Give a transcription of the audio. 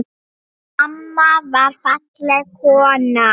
Mamma var falleg kona.